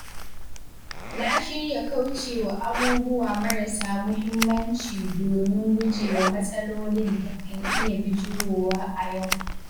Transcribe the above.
Na shirya kaucewa abubuwa marasa muhimmanci domin gujewa matsalolin da kan iya bijirowa a yau.